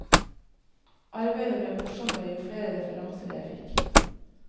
Arbeidet ble morsommere jo flere referanser jeg fikk.